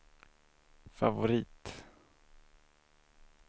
favorit